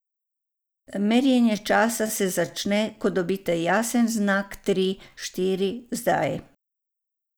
Merjenje časa se začne, ko dobite jasen znak tri, štiri, zdaj.